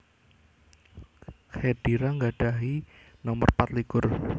Khedira nggadhahi nomer pat likur